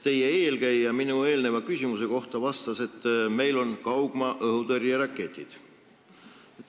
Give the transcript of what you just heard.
Teie eelkäija vastas minu eelmise küsimuse peale, et meil on kaugmaa-õhutõrjeraketid.